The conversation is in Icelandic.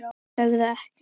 Sögðu ekkert.